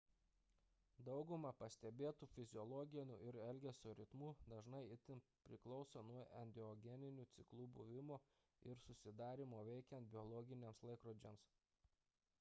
dauguma pastebėtų fiziologinių ir elgesio ritmų dažnai itin priklauso nuo endogeninių ciklų buvimo ir jų susidarymo veikiant biologiniams laikrodžiams